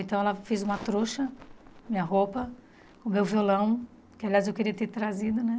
Então ela fez uma trouxa, minha roupa, o meu violão, que, aliás, eu queria ter trazido, né?